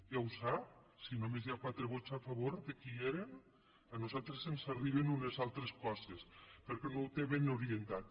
ja ho sap si només hi ha quatre vots a favor de qui eren a nosaltres ens arriben unes altres coses perquè no ho té ben orientat